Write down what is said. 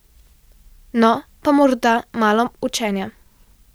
No, pa morda malo učenja.